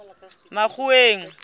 makgoweng